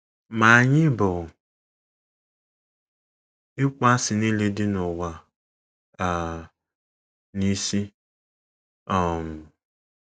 “ Ma anyị bu ịkpọasị nile dị n’ụwa um a n’isi um. ”